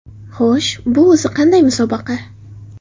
Xo‘sh, bu o‘zi qanday musobaqa?